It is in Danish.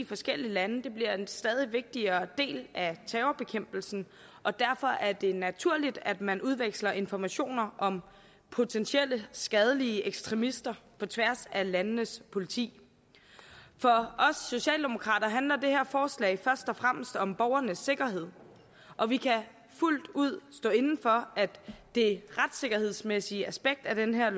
forskellige lande bliver en stadig vigtigere del af terrorbekæmpelsen og derfor er det naturligt at man udveksler informationer om potentielt skadelige ekstremister på tværs af landenes politi for os socialdemokrater handler det her forslag først og fremmest om borgernes sikkerhed og vi kan fuldt ud stå inde for at det retssikkerhedsmæssige aspekt af det her